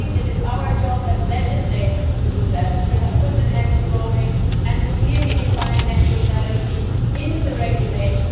I think it is our job as legislators to do that to put an end to roaming and to clearly define net neutrality in the regulation.